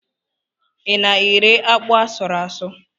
Ị na-ere akpụ asụrụ ásụ̀?